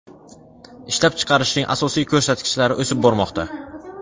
Ishlab chiqarishning asosiy ko‘rsatkichlari o‘sib bormoqda.